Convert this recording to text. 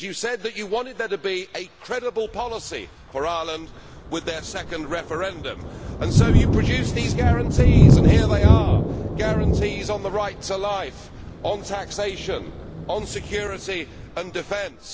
You said that you wanted there to be a credible policy for Ireland with their second referendum, and so you produced these guarantees, and here they are guarantees on the right to life, on taxation, on security and defence.